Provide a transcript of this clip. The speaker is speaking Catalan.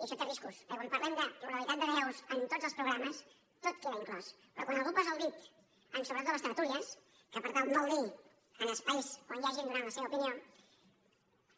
i això té riscos perquè quan parlem de pluralitats de veus en tots els programes tot queda inclòs però quan algú posa el dit en sobretot a les tertúlies que per tant vol dir en espais on hi ha gent donant la seva opinió